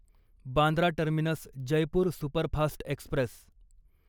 Bandra terminus Jaipur superfast Express